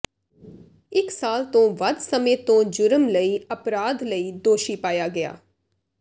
ਇਕ ਸਾਲ ਤੋਂ ਵੱਧ ਸਮੇਂ ਤੋਂ ਜੁਰਮ ਲਈ ਅਪਰਾਧ ਲਈ ਦੋਸ਼ੀ ਪਾਇਆ ਗਿਆ